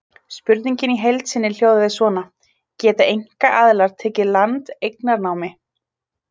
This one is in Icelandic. Spurningin í heild sinni hljóðaði svona: Geta einkaaðilar tekið land eignarnámi?